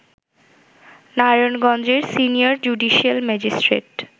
নারায়ণগঞ্জের senior judicial magistrate